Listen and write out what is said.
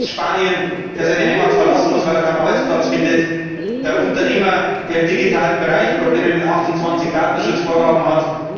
der Student aus Spanien, der seine Heimat verlassen muss, weil er keinen Arbeitsplatz findet, der Unternehmer, der im digitalen Bereich Probleme mit 28 Datenschutzvorgaben